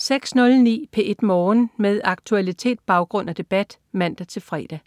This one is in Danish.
06.09 P1 Morgen. Med aktualitet, baggrund og debat (man-fre) 07.00